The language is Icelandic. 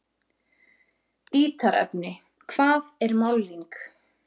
Ítarefni: Hvað er málning?